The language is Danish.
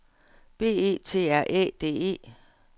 B E T R Æ D E